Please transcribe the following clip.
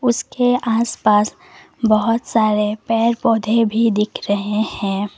उसके आस पास बहुत सारे पेड़ पौधे भी दिख रहे हैं।